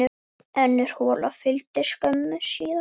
Önnur hola fylgdi skömmu síðar.